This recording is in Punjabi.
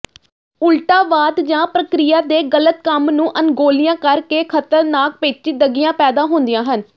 ਉਲਟਾਵਾਦ ਜਾਂ ਪ੍ਰਕਿਰਿਆ ਦੇ ਗਲਤ ਕੰਮ ਨੂੰ ਅਣਗੌਲਿਆਂ ਕਰਕੇ ਖਤਰਨਾਕ ਪੇਚੀਦਗੀਆਂ ਪੈਦਾ ਹੁੰਦੀਆਂ ਹਨ